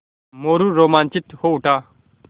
मोरू रोमांचित हो उठा